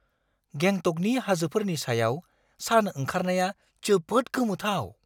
गेंटकनि हाजोफोरनि सायाव सान ओंखारनाया जोबोद गोमोथाव!